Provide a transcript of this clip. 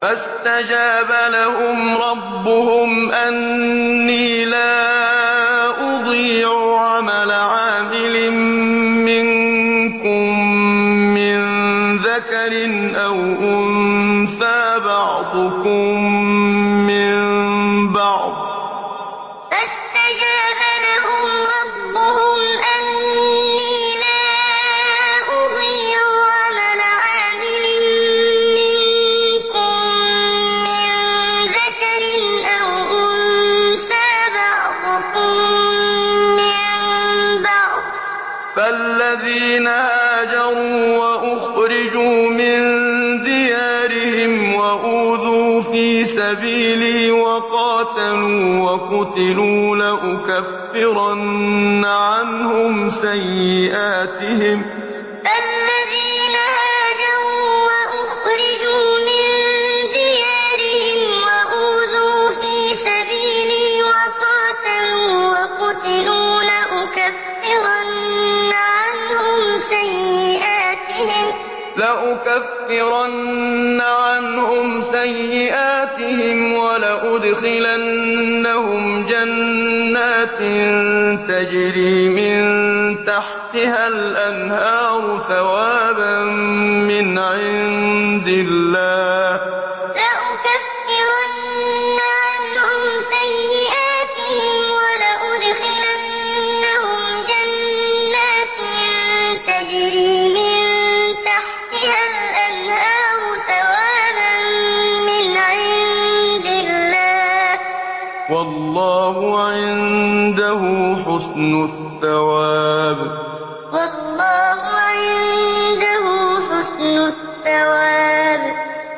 فَاسْتَجَابَ لَهُمْ رَبُّهُمْ أَنِّي لَا أُضِيعُ عَمَلَ عَامِلٍ مِّنكُم مِّن ذَكَرٍ أَوْ أُنثَىٰ ۖ بَعْضُكُم مِّن بَعْضٍ ۖ فَالَّذِينَ هَاجَرُوا وَأُخْرِجُوا مِن دِيَارِهِمْ وَأُوذُوا فِي سَبِيلِي وَقَاتَلُوا وَقُتِلُوا لَأُكَفِّرَنَّ عَنْهُمْ سَيِّئَاتِهِمْ وَلَأُدْخِلَنَّهُمْ جَنَّاتٍ تَجْرِي مِن تَحْتِهَا الْأَنْهَارُ ثَوَابًا مِّنْ عِندِ اللَّهِ ۗ وَاللَّهُ عِندَهُ حُسْنُ الثَّوَابِ فَاسْتَجَابَ لَهُمْ رَبُّهُمْ أَنِّي لَا أُضِيعُ عَمَلَ عَامِلٍ مِّنكُم مِّن ذَكَرٍ أَوْ أُنثَىٰ ۖ بَعْضُكُم مِّن بَعْضٍ ۖ فَالَّذِينَ هَاجَرُوا وَأُخْرِجُوا مِن دِيَارِهِمْ وَأُوذُوا فِي سَبِيلِي وَقَاتَلُوا وَقُتِلُوا لَأُكَفِّرَنَّ عَنْهُمْ سَيِّئَاتِهِمْ وَلَأُدْخِلَنَّهُمْ جَنَّاتٍ تَجْرِي مِن تَحْتِهَا الْأَنْهَارُ ثَوَابًا مِّنْ عِندِ اللَّهِ ۗ وَاللَّهُ عِندَهُ حُسْنُ الثَّوَابِ